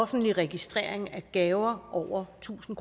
offentlig registrering af gaver over tusind